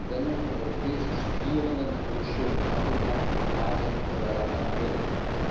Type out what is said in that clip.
die Entsendung von europäischen Studierenden an Hochschulen in Afrika, Asien oder Lateinamerika.